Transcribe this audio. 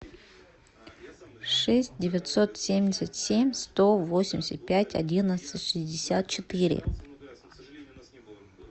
шесть девятьсот семьдесят семь сто восемьдесят пять одиннадцать шестьдесят четыре